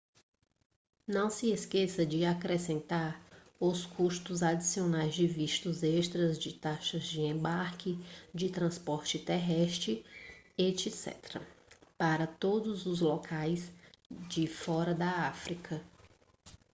não se esqueça de acrescentar os custos adicionais de vistos extras de taxas de embarque de transporte terrestre etc para todos os locais de fora da áfrica